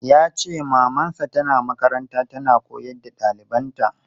Yace maman sa tana makaranta tana koyar da ɗalibanta.